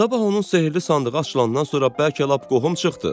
Sabah onun sehrli sandığı açılandan sonra bəlkə lap qohum çıxdıq.